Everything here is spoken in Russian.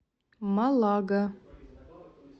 малага